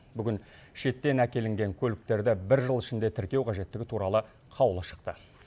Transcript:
бүгін шеттен әкелінген көліктерді бір жыл ішінде тіркеу қажеттігі туралы қаулы шықты